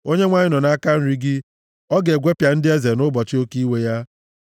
Onyenwe anyị nọ nʼaka nri gị. Ọ ga-egwepịa ndị eze nʼụbọchị oke iwe ya.